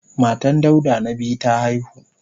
Matan Dauda na biyu ta haihu.